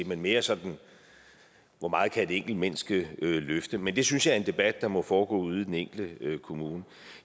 men mere sådan hvor meget kan et enkelt menneske løfte men det synes jeg er en debat der må foregå ude i den enkelte kommune